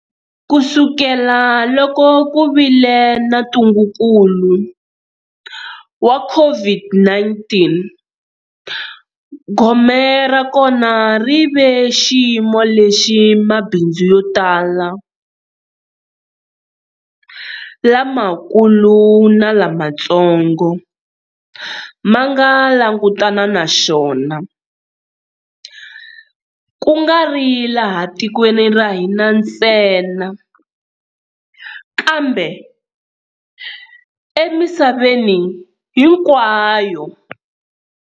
Kusukela loko ku vile na ntungukulu wa COVID-19, gome ra kona ri ve xiyimo lexi mabindzu yo tala lamakulu na lamatsongo ma nga langutana na xona, kungari laha tikweni ra hina ntsena kambe emisaveni hinkwayo.